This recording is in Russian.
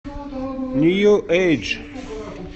нью эйдж